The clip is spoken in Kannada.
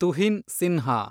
ತುಹಿನ್ ಸಿನ್ಹಾ